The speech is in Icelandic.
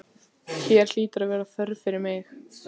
Hér hlýtur að vera þörf fyrir mig.